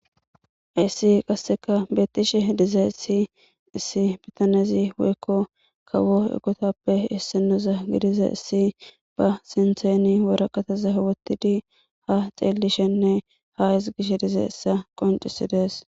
ayssi qasseka beetishe dizeissi issi bitanezi woykko kawo egotappe issinoza gidiza issi ba sintheni woraqataza wottidi ha xeelishenne ha isgish dize issa qoncisidees